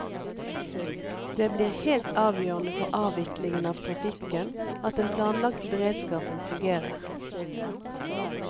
Det blir helt avgjørende for avviklingen av trafikken at den planlagte beredskapen fungerer.